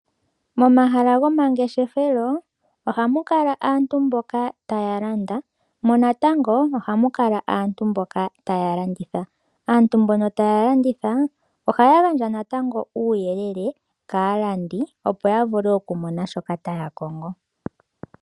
Momahala gomangeshefelo ohamu kala aantu mboka taya landa, mo natango ohamu kala aantu mboka taya landitha. Aantu mbono taya landitha ohaya gandja natango uuyelele kaalandi opo yavule okumona shoka taya kongo.